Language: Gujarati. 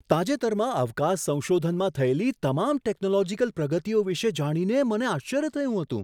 તાજેતરમાં અવકાશ સંશોધનમાં થયેલી તમામ ટેકનોલોજીકલ પ્રગતિઓ વિશે જાણીને મને આશ્ચર્ય થયું હતું.